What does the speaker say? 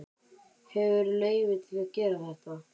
Hefurðu leyfi til að gera þetta?